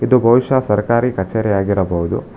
ಇದು ಬಹುಶಃ ಸರ್ಕಾರಿ ಕಚೇರಿ ಆಗಿರಬಹುದು.